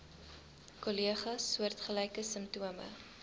kollegas soortgelyke simptome